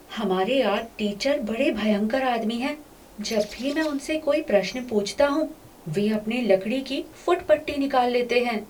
हमारे art teacher बड़े भयंकर आदमी हैं। जब भी मैं उससे कोई प्रश्न पूछता हूं, वे अपनी लकड़ी की फुट पट्टी निकाल लेते हैं।